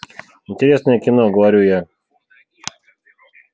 интересное кино говорю я